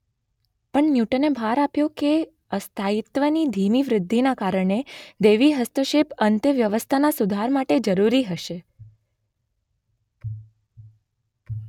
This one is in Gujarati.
પણ ન્યૂટને ભાર આપ્યો કે અસ્થાયિત્વની ધીમી વૃદ્ધિના કારણે દૈવી હસ્તક્ષેપ અંતે વ્યવસ્થાના સુધાર માટે જરૂરી હશે